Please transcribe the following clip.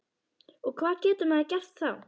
Og hvað getur maður gert þá?